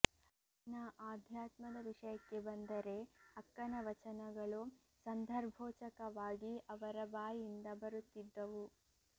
ಇನ್ನ ಆಧ್ಯಾತ್ಮದ ವಿಷಯಕ್ಕೆ ಬಂದರೆ ಅಕ್ಕನ ವಚನಗಳು ಸಂದರ್ಭೋಚಕವಾಗಿ ಅವರ ಬಾಯಿಂದ ಬರುತ್ತಿದ್ದವು